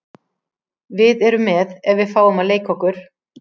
Við erum með ef við fáum að leika okkur.